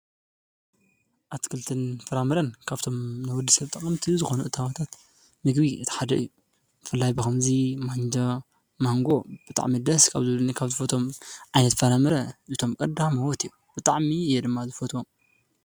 ኣትክልትን ፈራምረን ካብቶም ነዉዲ ሰብጠቐምቲዩ ዝኾኑ እታዋታት ምግቢ እተሓድ እዩ ፈላይ ብኸምዙይ ማንጃ ማንጎ ብጣዕሚደስ ካብ ዙሉኒ ካብ ዝፈቶም ዓይነት ፈራምረ እቶም ቀድ መወት እየ ብጥዕሚ እየድማ ዝፈትዎም።